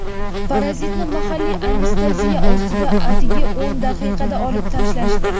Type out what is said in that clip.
Parazitni mahalliy anesteziya ostida atigi o‘n daqiqada olib tashlashdi.